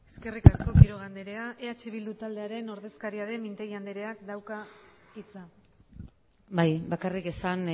eskerrik asko quiroga andrea eh bildu taldearen ordezkaria den mintegi andreak dauka hitza bai bakarrik esan